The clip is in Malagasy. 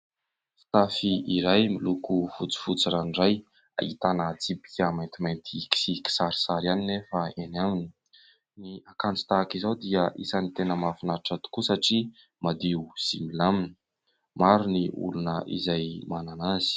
Fitafy iray miloko fotsifotsy ranoray. Ahitana tsipika maintimainty sy kisarisary ihany anefa eny aminy. Ny akanjo tahaka izao dia isany tena mahafinaritra tokoa satria madio sy milamina. Maro ny olona izay manana azy.